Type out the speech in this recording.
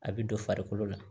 A bɛ don farikolo la